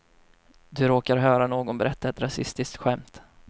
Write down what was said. Du råkar höra någon berätta ett rasistiskt skämt.